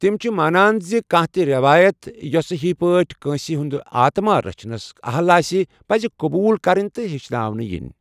تِم چھِ مانان زِ كانہہ تہِ ریوایت ، یوسہٕ ہِوی پٲٹھۍ كٲسہِ ہُند آتما رچھنس اہل آسہِ ، پزِ قبوٗل كرٕنہِ تہٕ ہیچھناونہٕ ینہِ ۔